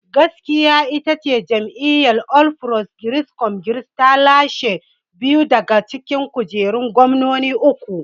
Gaskiyar ita ce, jam'iyyar All Progressive Congress ta lashe biyu daga cikin kujerun gwamnoni uku.